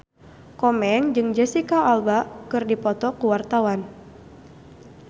Komeng jeung Jesicca Alba keur dipoto ku wartawan